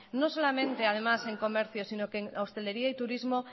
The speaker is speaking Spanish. no solamente además en comercio sino que en hostelería y turismo